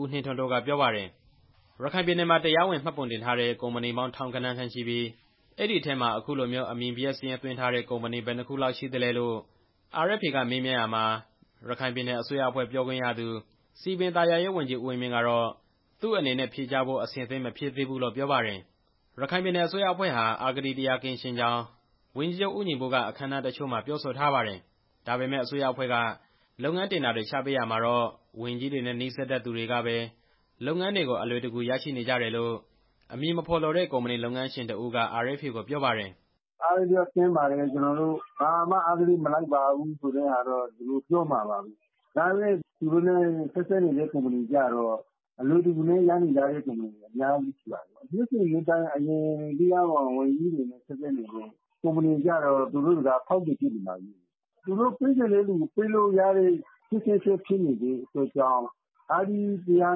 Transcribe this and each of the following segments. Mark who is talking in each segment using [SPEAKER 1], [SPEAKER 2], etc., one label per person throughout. [SPEAKER 1] ဦးနှင်းထွန်းတိုးက ပြောပါတယ်။ ရခိုင်ပြည်နယ်မှာ တရားဝင်မှတ်ပုံတင်ထားတဲ့ ကုမ္ပဏီပေါင်း ထောင်ဂဏန်းခန့်ရှိပြီး အဲဒီအထဲမှာ အခုလိုမျိုး အမည်ပျက်စာရင်းသွင်းထားတဲ့ ကုမ္ပဏီဘယ်နှစ်ခုလောက်ရှိသလဲလို့ RFA ကမေးမြန်းရာမှာ ရခိုင်ပြည်နယ် အစိုးရအဖွဲ့ပြောခွင့်ရသူ စည်ပင်သာယာရေးဝန်ကြီး ဦးဝင်းမြင့်က သူ့အနေနဲ့ ဖြေကြားဖို့ အဆင်သင့် မဖြစ်သေးဘူးလို့ပြောပါတယ်။ ရခိုင်ပြည်နယ်အစိုးရအဖွဲ့ဟာ အဂတိတရားကင်းရှင်းကြောင်း ဝန်ကြီးချုပ်ဦးညီပုက အခမ်းအနားတချို့မှာ ပြောဆိုထားပါတယ်။ ဒါပေမဲ့ အစိုးရအဖွဲ့က လုပ်ငန်းတင်ဒါတွေချထားပေးရာမှာတော့ ဝန်ကြီးတွေနဲ့ နီးစပ်သူတွေကပဲလုပ်ငန်းတွေကို အလွယ်တကူရရှိနေကြတယ်လို့ အမည်မဖော်လိုတဲ့ ကုမ္ပဏီလုပ်ငန်းရှင်တစ်ဦးက RFA ကိုပြောပါတယ်
[SPEAKER 2] ။ "အဂတိတရားကင်းပါတယ်၊ ကျွန်တော်တို့ ဘာမှအဂတိမလိုက်ပါဘူး ဆိုပြီးတော့သူတို့ကပြောမှာပဲ။ ဒါပေမဲ့ သူတို့နဲ့ဆက်စပ်နေတဲ့ကုမ္ပဏီကျတော့ လုပ်ငန်းတွေ အလွယ်တကူနဲ့ ရနေကြတာတွေ အများကြီးရှိပါတယ်။ နှစ်စဉ်နှစ်တိုင်း အရင်ကတည်းက ဝန်ကြီးတွေနဲ့ဆက်စပ်နေတဲ့ကုမ္ပဏီတွေဟာ ဖောက်သည်တွေလိုဖြစ်နေပါပြီ။ သူတို့ပေးချင်တဲ့သူတွေကို ပေးလို့ရနေတာကြောင့် အဂတိကင်းရှင်းတာ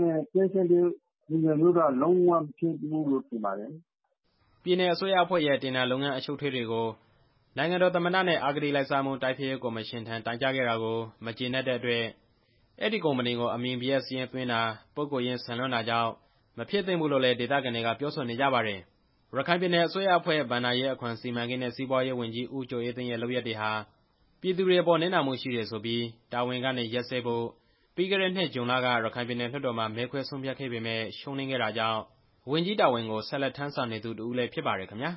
[SPEAKER 2] မျိုးက လုံးဝမဟုတ်ပါဘူး"
[SPEAKER 1] ပြည်နယ်အစိုးရအဖွဲ့ရဲ့ တင်ဒါလုပ်ငန်းအရှုပ်အထွေးတွေနဲ့ ပတ်သက်ပြီး နိုင်ငံတော်သမ္မတနဲ့ အဂတိလိုက်စားမှု တိုက်ဖျက်ရေးကော်မရှင်ထံတိုင်ကြားခဲ့တာကို မကျေနပ်တဲ့အတွက် အဲဒီကုမ္ပဏီကို အမည်ပျက်စာရင်းသွင်းတာဟာ ပုဂ္ဂိုလ်ရေးဆန်လွန်းတာကြောင့် မဖြစ်သင့်ဘူးလို့လည်း ဒေသခံတွေက ပြောဆိုနေကြပါတယ်။ ရခိုင်ပြည်နယ်အစိုးရအဖွဲ့ ဘဏ္ဍာရေး၊ အခွန်၊ စီမံကိန်းနဲ့ စီးပွားရေးဝန်ကြီး ဦးကျော်အေးသိန်းရဲ့ လုပ်ရပ်တွေဟာ ပြည်သူတွေအပေါ်နစ်နာမှုရှိတယ်ဆိုပြီး တာဝန်ကနေရပ်စဲဖို့ ပြီးခဲ့တဲ့နှစ်ဇွန်လက ပြည်နယ်လွှတ်တော်မှာ မဲခွဲဆုံးဖြတ်ခဲ့ပေမယ့် ရှုံးနိမ့်ခဲ့တာကြောင့် ဝန်ကြီးတာဝန်ကို ဆက်လက်ထမ်းဆောင်နေသူတစ်ဦးလည်း ဖြစ်ပါတယ်ခင်ဗျာ။